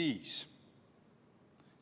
viis.